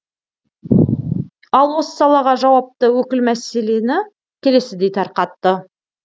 ал осы салаға жауапты өкіл мәселені келесідей тарқатты